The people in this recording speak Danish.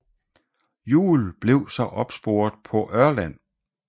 Juul blev så opsporet på Ørland